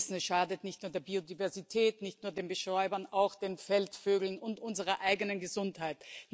Wir wissen Es schadet nicht nur der Biodiversität, nicht nur den Bestäubern, auch den Feldvögeln und unserer eigenen Gesundheit.